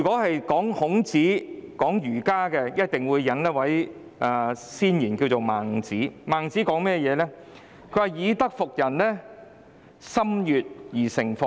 談到孔子、儒家，必須引用先賢孟子的說話："以德服人者，中心悅而誠服也。